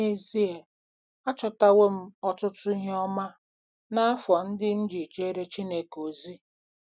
N’ezie, achọtawo m ọtụtụ ihe ọma n’afọ ndị m ji jeere Chineke ozi.